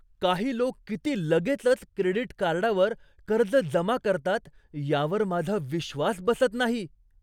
काही लोक किती लगेचच क्रेडिट कार्डावर कर्ज जमा करतात यावर माझा विश्वास बसत नाही.